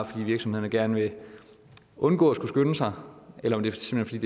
fordi virksomhederne gerne vil undgå at skulle skynde sig eller om det simpelt